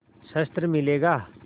शस्त्र मिलेगा